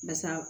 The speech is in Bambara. Basa